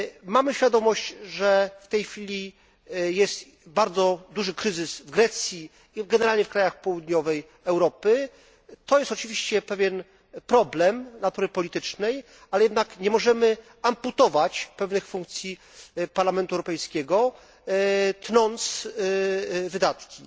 Mamy świadomość, że w tej chwili jest bardzo duży kryzys w Grecji i generalnie w krajach południowej Europy, to jest oczywiście pewien problem natury politycznej, ale jednak nie możemy amputować pewnych funkcji Parlamentu Europejskiego, tnąc wydatki.